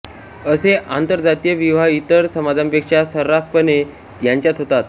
असे आंतरजातीय विवाह इतर समाजांपेक्षा सर्रासपणे यांच्यांत होतात